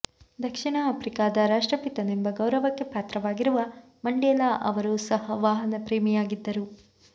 ದಕ್ಷಿಣ ಆಫ್ರಿಕಾದ ರಾಷ್ಟ್ರಪಿತನೆಂಬ ಗೌರವಕ್ಕೆ ಪಾತ್ರವಾಗಿರುವ ಮಂಡೇಲಾ ಅವರು ಸಹ ವಾಹನ ಪ್ರೇಮಿಯಾಗಿದ್ದರು